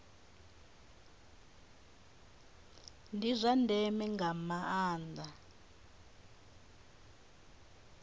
ndi zwa ndeme nga maanda